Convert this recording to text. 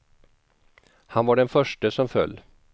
Han var den förste som föll.